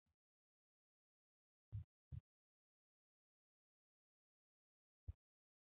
Yeroo midhaan oomishnee galfannu wanta kanatti walitti qabnee yeroo dheeraaf kan ittiin ol kaawwanuudha. Midhaan kanneen akka